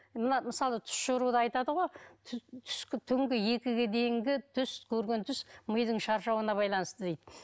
мына мысалы түс жоруда айтады ғой түнгі екіге дейінгі түс көрген түс мидың шаршауына байланысты дейді